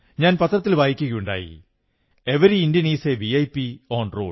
ഞാൻ പത്രത്തിൽ വായിക്കയുണ്ടായി ഓരോ ഇന്ത്യക്കാരനും നിരത്തിലെ വിഐപി ആണ്